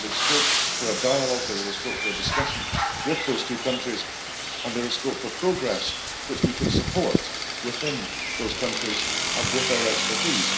There is scope for a dialogue, there is scope for a discussion with those two countries, and there is scope for progress which we can support within those countries with our expertise.